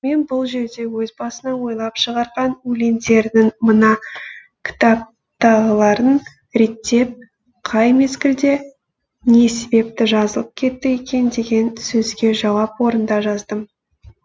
мен бұл жерде өз басынан ойлап шығарған өлендерінің мына кітаптағыларын реттеп қай мезгілде не себепті жазылып кетті екен деген сөзге жауап орнында жаздым